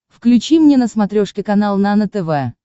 включи мне на смотрешке канал нано тв